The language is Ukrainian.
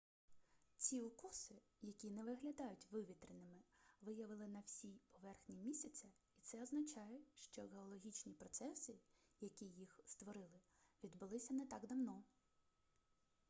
ці укоси які не виглядають вивітреними виявили на всій поверхні місяця і це означає що геологічні процеси які їх створили відбулися не так давно